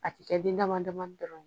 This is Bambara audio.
A cɛ den damadamani dɔrɔn